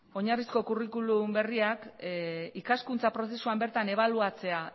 oinarrizko curriculumberriak ikaskuntza prozesuan bertan ebaluatzea